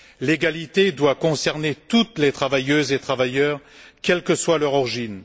L'égalité doit concerner toutes les travailleuses et tous les travailleurs, quelle que soit leur origine.